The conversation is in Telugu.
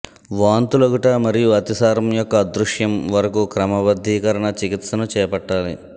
వాంతులగుట మరియు అతిసారం యొక్క అదృశ్యం వరకు క్రమబద్ధీకరణ చికిత్సను చేపట్టాలి